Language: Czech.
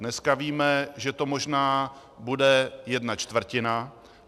Dneska víme, že to možná bude jedna čtvrtina.